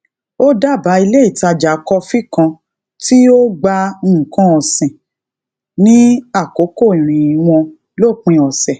ó dábàá ilé ìtajà kofi kan ti o gba nnkan osin ni àkókò ìrìn won lopin ose